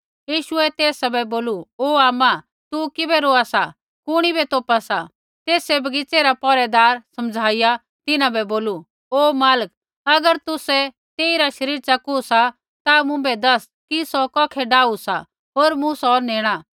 यीशुऐ तेसा बै बोलू ओ आमा तू किबै रोआ सा कुणी बै तोपा सा तेसै बगीच़ै रा पौहरैदार समझीया तिन्हां बै बोलू ओ मालक अगर तुसै तेइरा शरीर च़कू सा ता मुँभै दस कि सौ कौखै डाऊ सा होर मूँ सौ नेणा